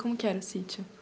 Como que era o sítio?